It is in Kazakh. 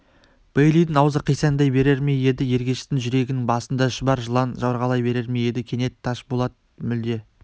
бейлидің аузы қисаңдай берер ме еді ергештің жүрегінің басында шұбар жылан жорғалай берер ме еді кенет ташпулат мүлде